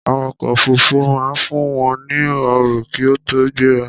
Awakọ̀ òfurufú máa ń fún wọn ní ọ̀rọ̀ kí ó tó gbéra